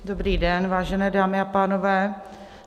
Dobrý den, vážené dámy a pánové.